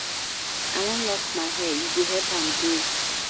I wan lock my hair, e go help am grow.